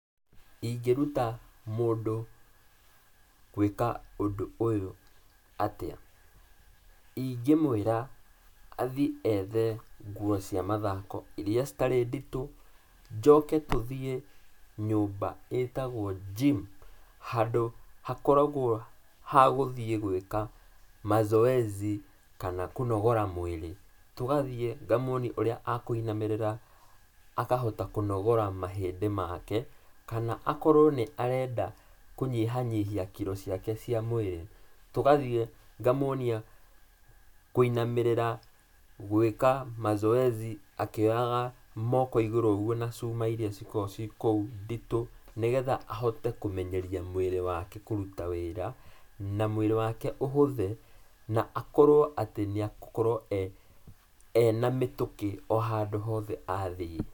Ingĩruta